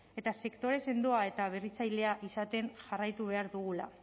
eta sektore sendoa eta berritzailea izaten jarraitu behar duela